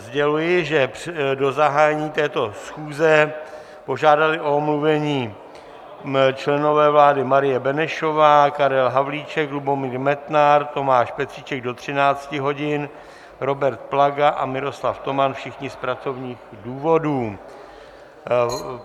Sděluji, že do zahájení této schůze požádali o omluvení členové vlády: Marie Benešová, Karel Havlíček, Lubomír Metnar, Tomáš Petříček do 13 hodin, Robert Plaga a Miroslav Toman - všichni z pracovních důvodů.